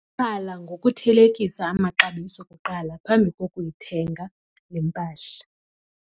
Qala ngokuthelekisa amaxabiso kuqala phambi kokuyithenga le mpahla.